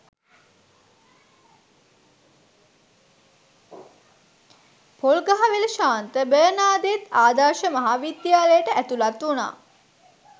පොල්ගහවෙල ශාන්ත බර්නාදෙත් ආදර්ශ මහා විද්‍යාලයට ඇතුළත් වුණා